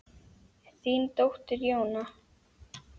Þín dóttir Jóna.